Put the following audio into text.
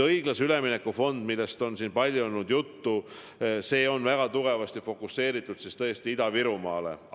Õiglase ülemineku fond, millest on palju juttu olnud, on väga tugevasti fokuseeritud Ida-Virumaale.